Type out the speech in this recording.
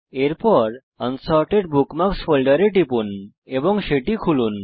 এরপর unsorted bookmarks ফোল্ডারে টিপুন এবং সেটি খুলুন